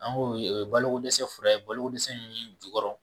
An ko ee balo ko dɛsɛ fɛɛrɛ ye balo ko dɛsɛ mun bi jukɔrɔ.